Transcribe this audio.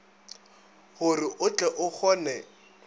gore o tle o kgone